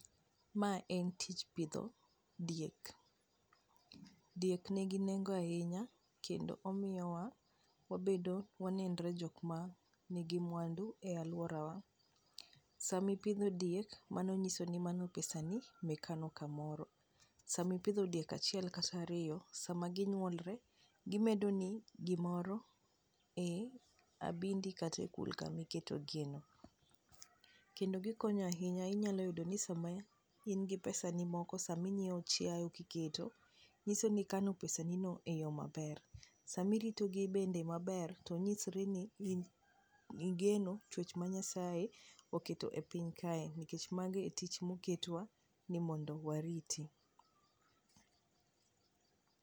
Mae en tich pidho diek. Diek nigi nengo ahinya kendo omiyowa wabedo wanenre jok manigi mwandu e alworawa, sami pidho diek, mano nyiso ni mano pesani mikano kamoro. Sami pidho diek achiel kata ariyo, sama ginyuolre, gimedoni gimoro ei abindi kata e kul kamiketogieno. kendo gikonyo ahinya inyalo yudo ni sama in gi pesani moko sami nyiewo chiayo kiketo, nyiso ni ikano pesanino e yo maber. Samirito gi bende maber to nyisre ni igeno chwech ma Nyasaye oketo e piny kae, nikech mano e tich moketwa ni mondo wariti.